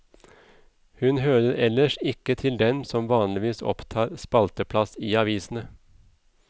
Hun hører ellers ikke til dem som vanligvis opptar spalteplass i avisene.